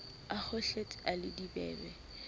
a kgohletse a le dibebe